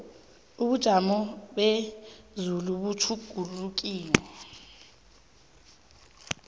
ubujamo bezulu butjhugulukile